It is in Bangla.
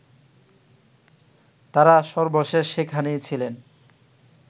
তারা সর্বশেষ সেখানেই ছিলেন